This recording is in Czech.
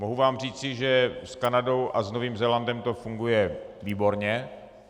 Mohu vám říci, že s Kanadou a s Novým Zélandem to funguje výborně.